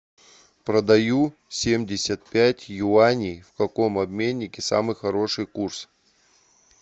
продаю семьдесят пять юаней в каком обменнике самый хороший курс